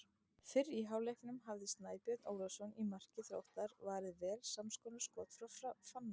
Fyrr í hálfleiknum hafði Snæbjörn Ólafsson í marki Þróttar varið vel samskonar skot frá Fannari.